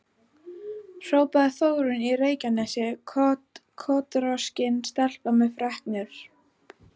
hrópaði Þórunn í Reykjanesi, kotroskin stelpa með freknur.